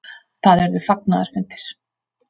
Það urðu fagnaðarfundir.